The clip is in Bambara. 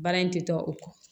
Baara in tɛ tɔ o kɔ